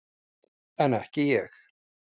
En ekki ég.